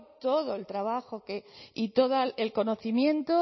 todo el trabajo y todo el conocimiento